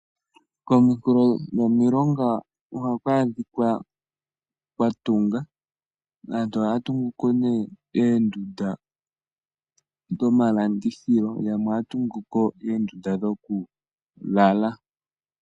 Kominkulo dhomilonga oha kwaadhikwa kwatungwa. Aantu ohaatunguko nee endunda dhomalandithilo yamwe ohaa tunguko eendunda dhoku lala.